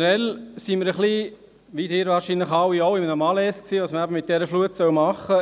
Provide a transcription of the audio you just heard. waren wir, wie Sie alle wahrscheinlich auch, ein wenig in einem Malaise und wussten nicht recht, was wir mit dieser Flut tun sollen.